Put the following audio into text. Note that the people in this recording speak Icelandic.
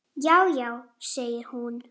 Það var efnið mitt.